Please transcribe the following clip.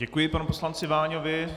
Děkuji panu poslanci Váňovi.